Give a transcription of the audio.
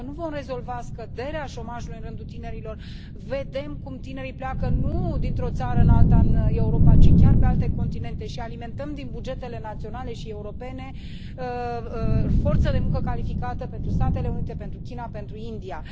Dacă nu vom rezolva problema scăderii șomajului în rândul tinerilor, vedem cum tinerii pleacă nu dintr o țară în alta în Europa, ci chiar pe alte continente și alimentăm din bugetele naționale și europene forță de muncă calificată pentru Statele Unite, pentru China, pentru India.